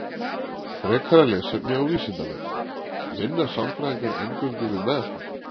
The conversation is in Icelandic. Frekara lesefni á Vísindavefnum: Vinna sálfræðingar eingöngu við meðferð?